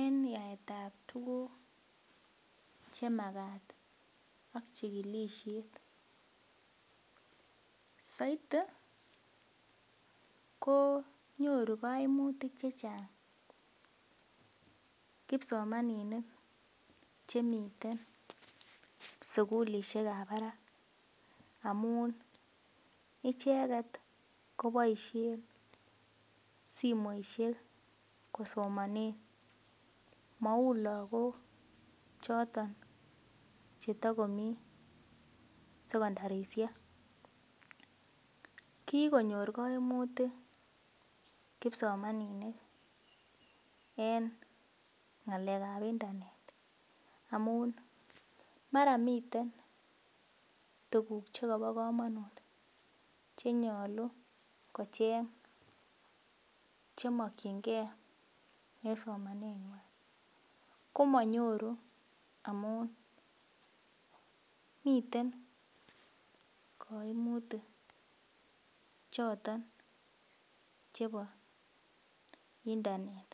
en yaetab tuguk chemakat ak chigilisiet soiti konyoru koimutik chechang kipsomaninik chemiten sugulisiek ab barak amun icheket koboisien simoisiek kosomanen mouu logok choton chetokomii sekondarisiek kikonyor koimutik kipsomaninik en ng'alek ab internet amun mara miten tuguk chekobo komonut chenyolu kocheng chemokyingee en somanet nywan komonyoru amun miten koimutik choton chebo internet